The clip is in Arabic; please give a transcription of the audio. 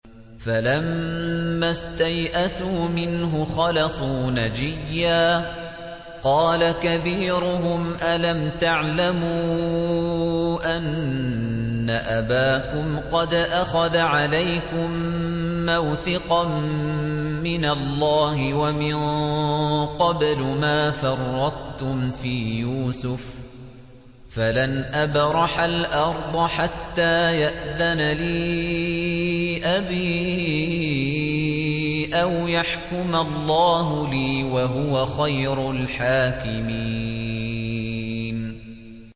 فَلَمَّا اسْتَيْأَسُوا مِنْهُ خَلَصُوا نَجِيًّا ۖ قَالَ كَبِيرُهُمْ أَلَمْ تَعْلَمُوا أَنَّ أَبَاكُمْ قَدْ أَخَذَ عَلَيْكُم مَّوْثِقًا مِّنَ اللَّهِ وَمِن قَبْلُ مَا فَرَّطتُمْ فِي يُوسُفَ ۖ فَلَنْ أَبْرَحَ الْأَرْضَ حَتَّىٰ يَأْذَنَ لِي أَبِي أَوْ يَحْكُمَ اللَّهُ لِي ۖ وَهُوَ خَيْرُ الْحَاكِمِينَ